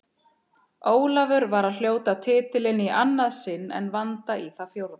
Ólafur var að hljóta titilinn í annað sinn en Vanda í það fjórða.